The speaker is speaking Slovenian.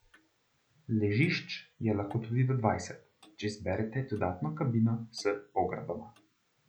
Ležišč je lahko tudi do dvanajst, če izberete dodatno kabino s pogradoma.